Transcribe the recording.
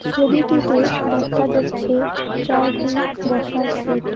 ছবিটিতে দেখা যাচ্ছে চারটি বসার সিট ।